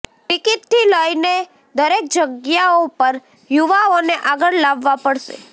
ટિકીટથી લઇને દરેક જગ્યાઓ પર યુવાઓને આગળ લાવવા પડશે